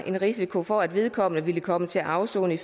en risiko for at vedkommende ville komme til at afsone i